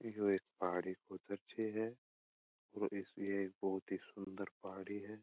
पहाड़ी को दर्शय है और ये एक बहुत ही सूंदर ही पहाड़ी है।